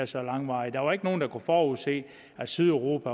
så langvarig der var ikke nogen der kunne forudse at sydeuropa